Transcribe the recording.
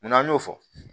Munna an y'o fɔ